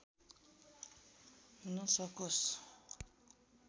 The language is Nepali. हुन सकोस्